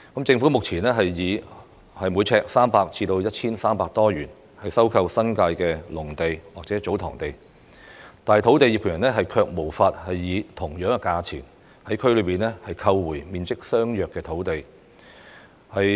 政府目前以每平方呎300元至 1,300 多元收購新界的農地或祖堂地，但土地業權人卻無法以同等價錢，在區內購回面積相若的土地。